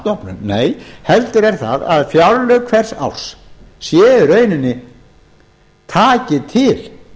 stofnun nei heldur er það að fjárlög hvers árs taki til